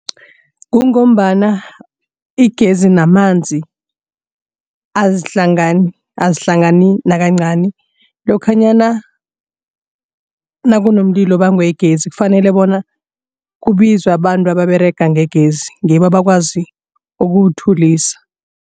Kungombana igezi namanzi azihlangani azihlangani nakancani. Lokhanyana nakunomlilo obangwe yigezi kufanele bona kubizwe abantu ababerega ngegezi ngibo abakwazi ukuwuthulisa.